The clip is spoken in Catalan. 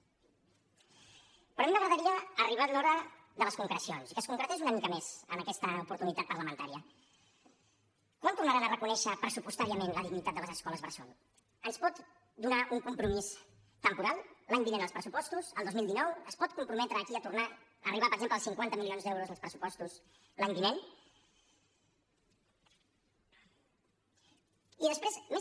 però a mi m’agradaria ha arribat l’hora de les concrecions que concretés una mica més en aquesta oportunitat parlamentària quan tornaran a reconèixer pressupostàriament la dignitat de les escoles bressol ens pot donar un compromís temporal l’any vinent als pressupostos el dos mil dinou es pot comprometre aquí a tornar a arribar per exemple als cinquanta milions d’euros als pressupostos l’any vinent i després més